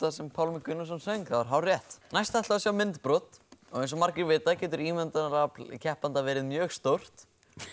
sem Pálmi Gunnarsson söng það er hárrétt næst ætlum við að sjá myndbrot eins og margir vita getur ímyndunarafl keppanda verið mjög stórt